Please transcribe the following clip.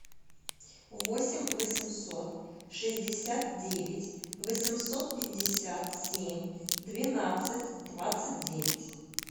восемь восемьсот шестьдесят девять восемьсот пятьдесят семь двенадцать двадцать девять